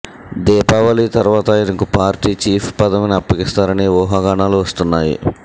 దీపావళి తర్వాత ఆయనకు party chief పదవిని అప్పగిస్తారని ఊహాగానాలు వస్తున్నాయి